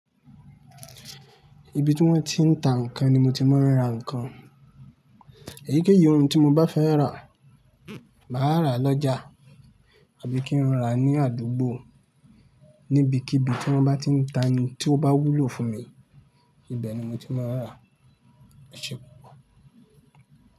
Ibi tí wón ti ń ta ǹkan ni mo ti máa ń ra ǹkan. Èyíkéyìí ohun tí mo bá fẹ́ rà, màá rà lọ́jà àbí kí n rà ní àdúgbò níbikíbi tí wọ́n bá tí ń ta n tí ó bá wúlò fún mi, ibẹ̀ ni mo ti máa ń rà.